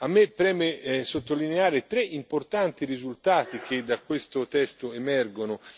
A me preme sottolineare tre importanti risultati che da questo testo emergono.